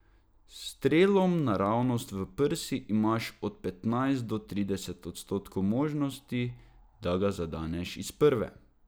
S strelom naravnost v prsi imaš od petnajst do trideset odstotkov možnosti, da ga zadeneš iz prve.